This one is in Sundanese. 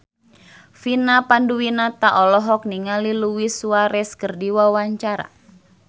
Vina Panduwinata olohok ningali Luis Suarez keur diwawancara